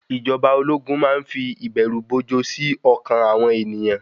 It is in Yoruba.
Ìjọba ológun má ń fi ìbẹ̀rù-bojo sí ọkàn àwọn ènìyàn.